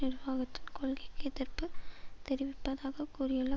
நிர்வாகத்துக் கொள்கைக் எதிர்ப்பு தெரிவிப்பதாக கூறியுள்ள